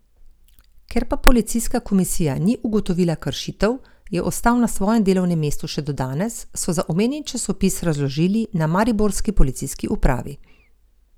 Ker pa policijska komisija ni ugotovila kršitev, je ostal na svojem delovnem mestu še do danes, so za omenjeni časopis razložili na mariborski policijski upravi.